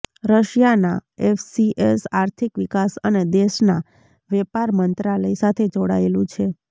રશિયાના એફસીએસ આર્થિક વિકાસ અને દેશના વેપાર મંત્રાલય સાથે જોડાયેલું છે